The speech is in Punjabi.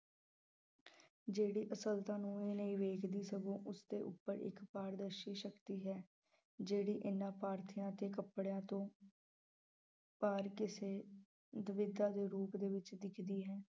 ਜਿਹੜੀ ਅਸਲਤਾ ਨੂੰ ਹੀ ਨਹੀਂ ਵੇਖਦੀ ਸਗੋਂ ਉਸਦੇ ਉੱਪਰ ਇੱਕ ਪਾਰਦਰਸੀ ਸ਼ਕਤੀ ਹੈ ਜਿਹੜੀ ਇਹਨਾਂ ਤੇ ਕੱਪੜਿਆਂ ਤੋਂ ਪਾਰ ਕਿਸੇ ਦੁਵਿਧਾ ਦੇ ਰੂਪ ਦੇ ਵਿੱਚ ਦਿਖਦੀ ਹੈ।